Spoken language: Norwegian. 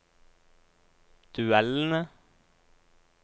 duellene